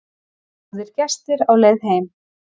Góðir gestir á leið heim